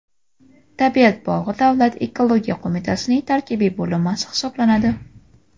Tabiat bog‘i Davlat ekologiya qo‘mitasining tarkibiy bo‘linmasi hisoblanadi.